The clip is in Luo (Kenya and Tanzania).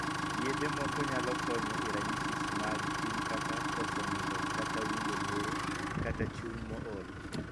Yedhe moko nyalo konyo e ranyisis mag tim kaka koso nindo kata winjo luoro kata chuny mool.